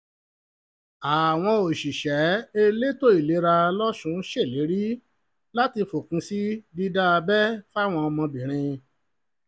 àwọn òṣìṣẹ́ elétò ìlera losùn ṣèlérí láti fòpin sí dídá abẹ́ fáwọn ọmọbìnrin